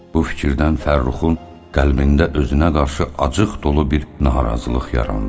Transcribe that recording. Bu fikirdən Fərruxun qəlbində özünə qarşı acıq dolu bir narazılıq yarandı.